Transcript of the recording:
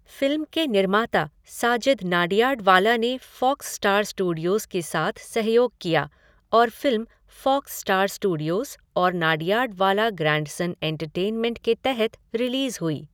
Film के निर्माता साजिद नाडियाडवाला ने फ़ॉक्स स्टार स्टूडियोज़ के साथ सहयोग किया और फ़िल्म फ़ॉक्स स्टार स्टूडियोज़ और नाडियाडवाला ग्रैंडसन एंटरटेनमेंट के तहत रिलीज़ हुई।